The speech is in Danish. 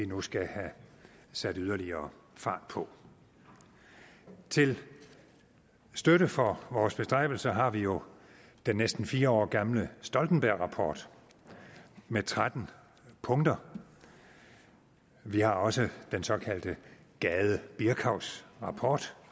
nu skal have sat yderligere fart på til støtte for vores bestræbelser har vi jo den næsten fire år gamle stoltenbergrapport med tretten punkter vi har også den såkaldte gade birkavs rapport